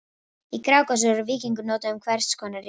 Í Grágás er orðið víkingur notað um hvers konar ræningja.